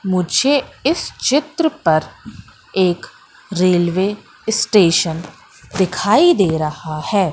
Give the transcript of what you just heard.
मुझे इस चित्र पर एक रेलवे स्टेशन दिखाई दे रहा है।